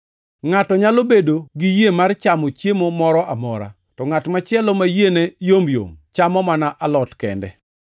Ngʼato nyalo bedo gi yie mar chamo chiemo moro amora, to ngʼat machielo ma yiene yomyom chamo mana alot kende.